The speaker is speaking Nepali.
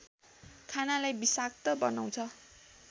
खानालाई विषाक्त बनाउँछ